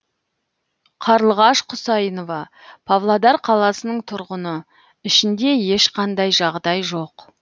қарлығаш құсайынова павлодар қаласының тұрғыны ішінде ешқандай жағдай жоқ